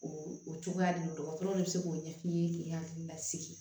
O o cogoya de don dɔgɔtɔrɔw bɛ se k'o ɲɛ f'i ye k'i hakili lasigi